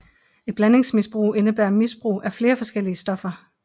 Et blandingsmisbrug indebærer misbrug af flere forskellige stoffer